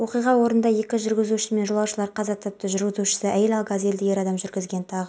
оқиға орнында екі жүргізуші мен жолаушылар қаза тапты жүргізушісі әйел ал газельді ер адам жүргізген тағы